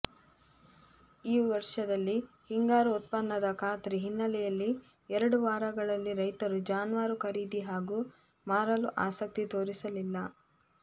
ಈ ವರ್ಷದಲ್ಲಿ ಹಿಂಗಾರು ಉತ್ಪನ್ನದ ಖಾತ್ರಿ ಹಿನ್ನೆಲೆಯಲ್ಲಿ ಎರಡು ವಾರಗಳಲ್ಲಿ ರೈತರು ಜಾನುವಾರು ಖರೀದಿ ಹಾಗೂ ಮಾರಲು ಆಸಕ್ತಿ ತೋರಿಸಲಿಲ್ಲ